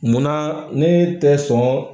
Mun na ne tɛ sɔn.